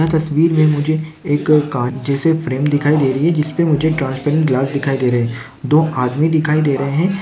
यहा तस्वीर मे मुझे एक काँच जैसे फ्रेम दिखाई दे रही है जिसपे मुझे ट्रांस्परेंट ग्लास दिखाई दे रहे है दो आदमी दिखाई दे रहे है।